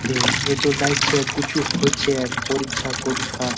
এই এটু লাইগছে কুছু হইছে পরিচ্ছা কোরীক্ষা।